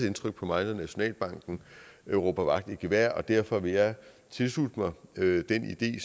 indtryk på mig når nationalbanken råber vagt i gevær og derfor vil jeg tilslutte mig den idé